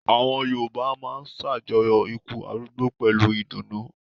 Àwọn Yorùbá máa ṣàjọyọ̀ ikú arúgbó pẹ̀lú ìdùnnú.